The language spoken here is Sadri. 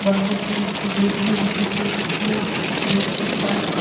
बॉउंड्री के लिए गेट भी दिखत थे गेट के पास--